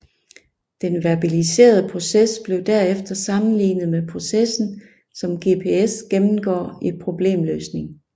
Den verbaliserede proces blev derefter sammenlignet med processen som GPS gennemgår i problemløsning